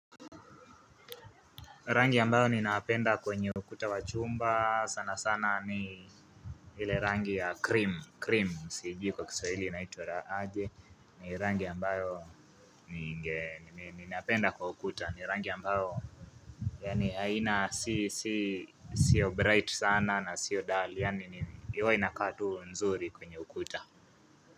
Rangi ambayo ninapenda kwenye ukuta wa chumba sana sana ni ile rangi ya cream cream siijiu kwa kiswahili inaitwa aje ni rangi ambayo ninapenda kwa ukuta ni rangi ambayo yaani haina si si sio bright sana na sio dull yaani huwa inakaa tu nzuri kwenye ukuta.